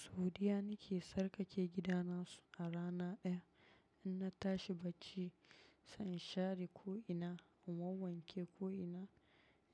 Saudiya nake, sarki ke gidana su a rana ɗaya. In na tashi bacci, sai in share ko ina, in wanke ko ina,